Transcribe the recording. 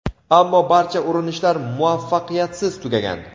ammo barcha urinishlar muvaffaqiyatsiz tugagan.